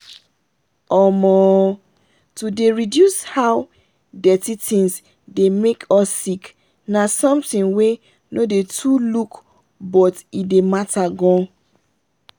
omoooo to dey reduce how dirty things dey make us sick na something wey no dey too look but e dey matter gan.